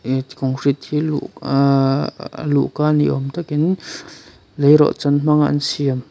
concrete aa a luhka ni awm takin leirawhchan hmanga an siam--